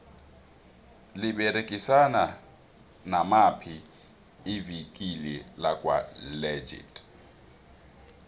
liberegisana namaphi ivikile lakwa legit